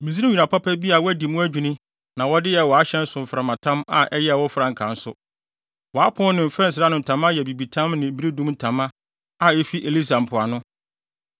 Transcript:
Misraim nwera papa bi a wɔadi mu adwini na wɔde yɛɛ wʼahyɛn so mframatam a ɛyɛɛ wo frankaa nso; wʼapon ne mfɛnsere ano ntama yɛ abibitam ne beredum ntama a efi Elisa mpoano.